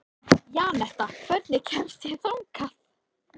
Janetta, hvernig kemst ég þangað?